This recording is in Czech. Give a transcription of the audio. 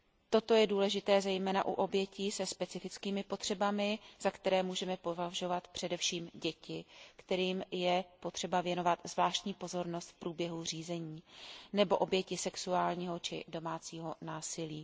Toto je důležité zejména u obětí se specifickými potřebami, za které můžeme považovat především děti, kterým je potřeba věnovat zvláštní pozornost v průběhu řízení, nebo oběti sexuálního či domácího násilí.